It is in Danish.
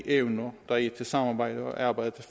evner der er i samarbejdet og arbejdet